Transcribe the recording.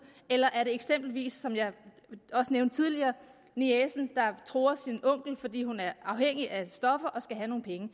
eller er det eksempelvis som jeg også nævnte tidligere niecen der truer sin onkel fordi hun er afhængig af stoffer og skal have nogle penge